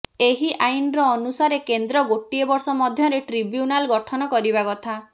ଏହି ଆଇନର ଅନୁସାରେ କେନ୍ଦ୍ର ଗୋଟିଏ ବର୍ଷ ମଧ୍ୟରେ ଟ୍ରିବ୍ୟୁନାଲ ଗଠନ କରିବା କଥା